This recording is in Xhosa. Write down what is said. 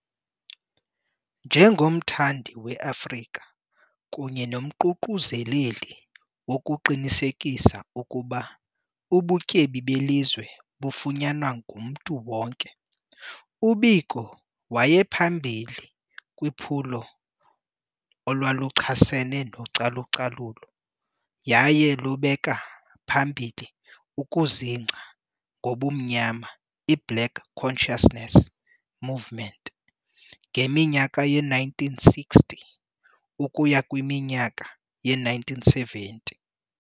Nje ngomthandi weAfrika kunye nomququzeleli wokuqinisekisa ukuba ubutyebi belizwe bufunyanwa ngumntu wonke, uBiko wayephambili kwiphulo olwaluchasene nocalu-calulo, yaye lubeka pahmbili ukuzingca ngobumnyama iBlack Consciousness Movement ngeminyaka ye-1960 ukuya kwiminyaka ye-1970.